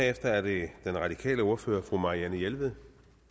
herefter er det den radikale ordfører fru marianne jelved